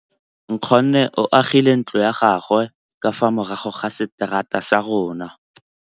Nkgonne o agile ntlo ya gagwe ka fa morago ga seterata sa rona.